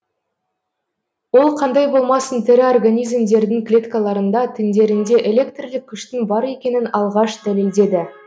ол қандай болмасын тірі организмдердің клеткаларында тіндерінде электрлік күштің бар екенін алғаш дәлелдеді